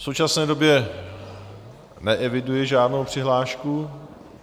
V současné době neeviduji žádnou přihlášku.